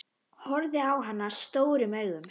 Horfði á hana stórum augum.